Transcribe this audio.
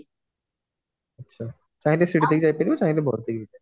ଚାହିଁଲେ ସିଡି ଦେଇକି ଯାଇପାରିବ ଚାହିଁଲେ bus ଦେଇକି ଯିବ